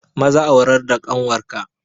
Maza aurar da ƙanwar ka!